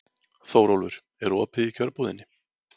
Þórólfur, er opið í Kjörbúðinni?